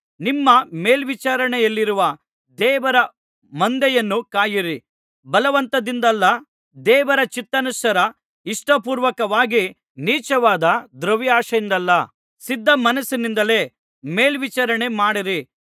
ನಿಮ್ಮ ಮೇಲ್ವಿಚಾರಣೆಯಲ್ಲಿರುವ ದೇವರ ಮಂದೆಯನ್ನು ಕಾಯಿರಿ ಬಲವಂತದಿಂದಲ್ಲ ದೇವರ ಚಿತ್ತಾನುಸಾರ ಇಷ್ಟಪೂರ್ವಕವಾಗಿ ನೀಚವಾದ ದ್ರವ್ಯಾಶೆಯಿಂದಲ್ಲ ಸಿದ್ಧ ಮನಸ್ಸಿನಿಂದಲೇ ಮೇಲ್ವಿಚಾರಣೆ ಮಾಡಿರಿ